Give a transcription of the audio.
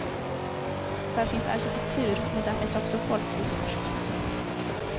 Där finns arkitektur, men där finns också folklivsforskning.